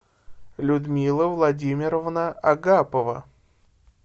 людмила владимировна агапова